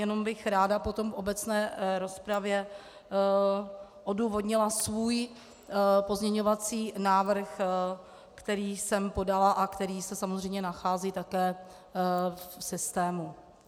Jenom bych ráda potom v obecné rozpravě odůvodnila svůj pozměňovací návrh, který jsem podala a který se samozřejmě nachází také v systému.